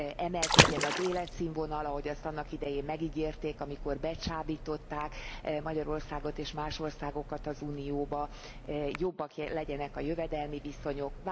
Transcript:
emelkedjen az életszínvonal, ahogy azt annak idején megígérték, amikor becsábították Magyarországot és más országokat az Unióba, jobbak legyenek a jövedelmi viszonyok.